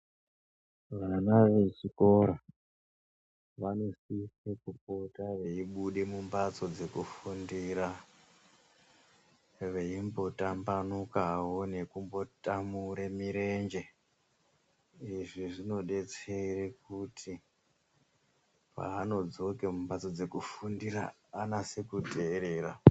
Vana vechikora vanosise kupota veibuda mumhatso dzkufumdira veimbotambanukawo nekutamure murenje izvi zvinodetsere kuti pavanodzoke mumhatso dzekufundira vanase kuterera.